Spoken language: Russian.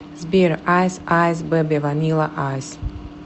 сбер айс айс бэби ванила айс